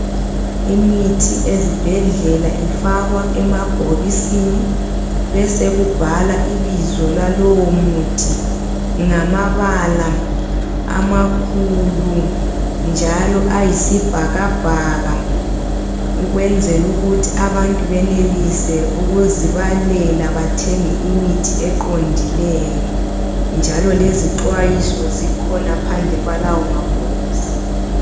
Imithi ezibhedlela ifakwa emabhokisini ibese ibhalwa amabizo alawo mithi ngamabala amakhulu njalo ayisibhakabhaka ukwenzela ukuthi abantu benelise ukuzibalela bathenge imithi eqondileyo njalo lezixwayiso zikhona phandle kwalawo mabhokisi.